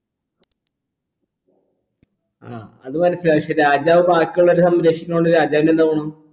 ആ അത് മനസിലായി പക്ഷെ രാജാവ് ബാക്കിയുള്ളോരേ സംരക്ഷിക്കുന്നൊണ്ട് രാജാവിന് എന്താ ഗുണം